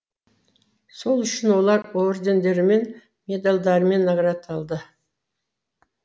сол үшін олар ордендермен медальдармен наградталды